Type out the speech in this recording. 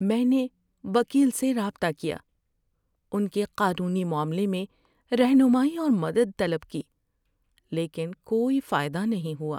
میں نے وکیل سے رابطہ کیا، ان کے قانونی معاملے میں رہنمائی اور مدد طلب کی، لیکن کوئی فائدہ نہیں ہوا!